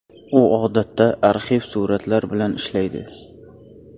U odatda arxiv suratlar bilan ishlaydi.